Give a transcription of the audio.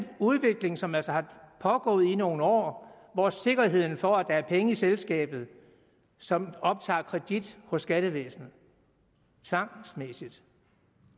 udvikling som altså er pågået i nogle år hvor sikkerheden for at der er penge i selskabet som optager kredit hos skattevæsenet tvangsmæssigt